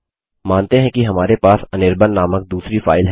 मानते हैं कि हमारे पास अनिर्बाण नामक दूसरी फाइल है